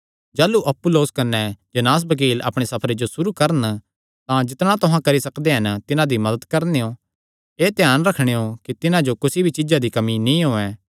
जाह़लू अपुल्लोस कने जेनास बकील अपणे सफरे जो सुरू करन तां जितणा तुहां करी सकदे हन तिन्हां दी मदत करनेयों एह़ ध्यान रखणेयो कि तिन्हां जो कुसी भी चीज्जा दी कमी नीं होयैं